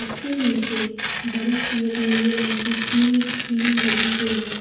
इसके नीचे बड़ी सी एक नीले रंग की ग्रील कील लगी हुई है।